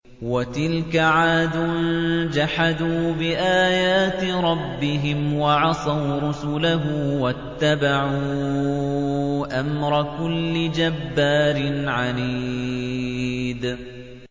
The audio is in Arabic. وَتِلْكَ عَادٌ ۖ جَحَدُوا بِآيَاتِ رَبِّهِمْ وَعَصَوْا رُسُلَهُ وَاتَّبَعُوا أَمْرَ كُلِّ جَبَّارٍ عَنِيدٍ